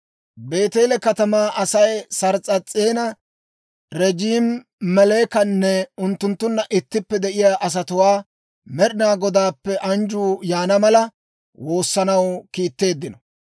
Beeteele katamaa Asay Sars's'ees'ena, Regeemi-Melekanne unttunttunna ittippe de'iyaa asatuwaa Med'inaa Godaappe anjjuu yaana mala woossanaw kiitteeddino.